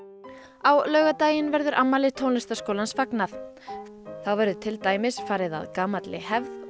á laugardaginn verður afmæli tónlistarskólans fagnað þá verður til dæmis farið að gamalli hefð og